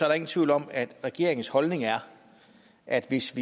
der ingen tvivl om at regeringens holdning er at hvis